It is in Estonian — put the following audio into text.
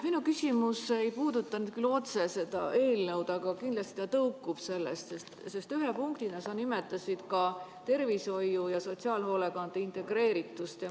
Minu küsimus ei puuduta nüüd küll otse seda eelnõu, aga kindlasti ta tõukub sellest, sest ühe punktina sa nimetasid ka tervishoiu ja sotsiaalhoolekande integreeritust.